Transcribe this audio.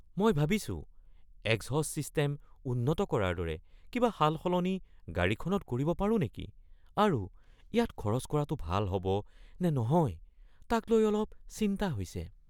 মই ভাবিছোঁ exhaust system উন্নত কৰাৰ দৰে কিবা সালসলনি গাড়ীখনত কৰিব পাৰোঁ নেকি আৰু ইয়াত খৰচ কৰাটো ভাল হ’ব নে নহয় তাক লৈ অলপ চিন্তা হৈছে।